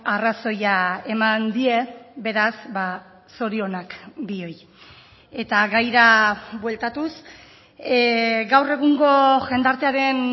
arrazoia eman die beraz zorionak bioi eta gaira bueltatuz gaur egungo jendartearen